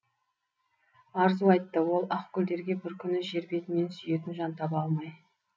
арзу айтты ол ақ гүлдерге бір күні жер бетінен сүйетін жан таба алмай